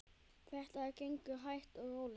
Þetta gengur hægt og rólega.